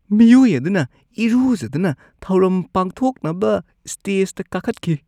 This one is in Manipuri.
ꯃꯤꯑꯣꯏ ꯑꯗꯨꯅ ꯏꯔꯨꯖꯗꯅ ꯊꯧꯔꯝ ꯄꯥꯡꯊꯣꯛꯅꯕ ꯁ꯭ꯇꯦꯖꯇ ꯀꯥꯈꯠꯈꯤ꯫